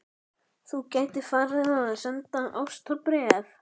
Þú gætir farið að senda ástarbréf.